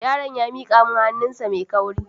Yaron ya miƙa mun hannu sa mai kauri